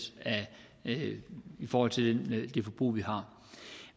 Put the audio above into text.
i forhold til det forbrug vi har